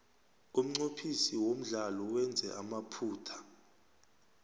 umnqophisi womdlalo wenze amaphutha